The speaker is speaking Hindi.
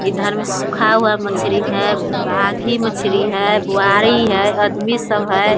इधर में सुखा हुआ मछली है बाघी मछली है बोयारी है आदमी सब है ।